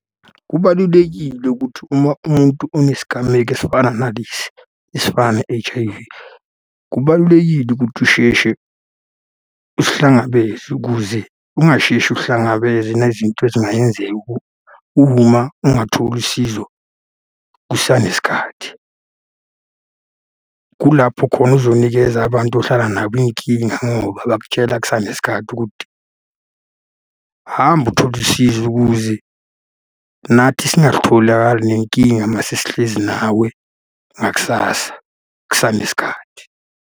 Kubalulekile ukuthi uma umuntu onesigameko esifana nalesi, esifana ne-H_I_V, kubalulekile ukuthi usheshe usihlangabeze ukuze ungasheshi uhlangabeze nezinto ezingayenzeka ungatholi usizo kusanesikhathi. Kulapho khona uzonikeza abantu ohlala nabo iy'nkinga ngoba bakutshela kusanesikhathi ukudthi, hamba uthole usizo ukuze nathi singatholakali nenkinga uma sesihlezi nawe, ngakusasa kusanesikhathi.